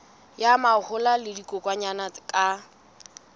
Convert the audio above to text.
ya mahola le dikokwanyana ka